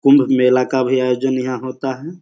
कुंभ मेला का भी आयोजन यहां होता है।